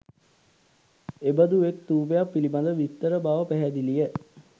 එබඳු එක් ථූපයක් පිළිබඳ විස්තර බව පැහැදිලිය.